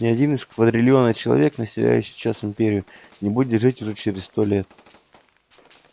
ни один из квадрильона человек населяющих сейчас империю не будет жить уже через сто лет